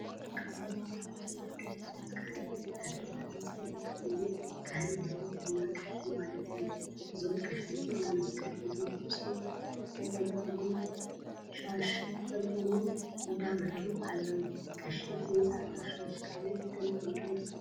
ካብ ናይ ኦርቶዶክ ተዋህዶ እምነት ካህን እንዳተባሃለ ዝፍለጥ ኮይኑ ካህን ማለት ድማ ቀሺ ማለት እዩ። እዚም ቀሺ እዚኦም መስቀል ሒዞም ርእሶም መጠምጠሚሻሽ ተጠምጢሞም እንዳኣምሀሩ ኣለው። ቀሺ ብዘይ ፃዕዳ ሻሽ ካሊእ ይጥምጥ ዶ ?